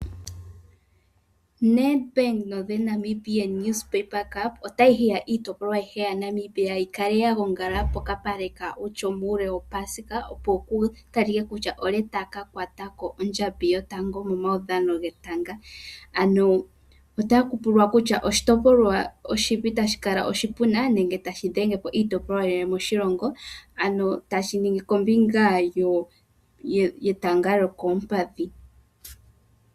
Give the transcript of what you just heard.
Net bank no the Namibian news paper cup, otayi hiya iitipolwa ayihe yaNamibia yikale yagongala pokapale kaOutjo muule wo paasika opo ku ta like ko kutya olye taka kwata ondjambi yotango momaudhano getanga, ano ota kupulwa kutya oshitopolwa oshipi tashi kala oshipuna nenge tashi dhenge po iitopolwa yilwe moshilongo, ano tashi ningi kombinga yo yetanga lyokoompadhi.